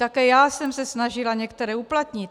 Také já jsem se snažila některé uplatnit.